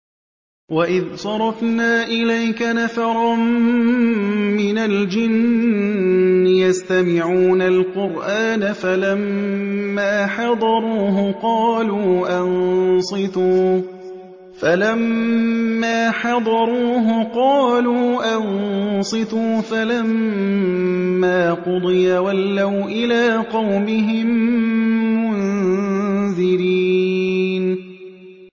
وَإِذْ صَرَفْنَا إِلَيْكَ نَفَرًا مِّنَ الْجِنِّ يَسْتَمِعُونَ الْقُرْآنَ فَلَمَّا حَضَرُوهُ قَالُوا أَنصِتُوا ۖ فَلَمَّا قُضِيَ وَلَّوْا إِلَىٰ قَوْمِهِم مُّنذِرِينَ